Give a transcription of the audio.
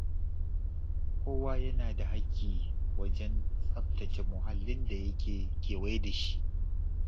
Kowa yana da hakki wajen tsabtace muhallin da yake kewaye da shi.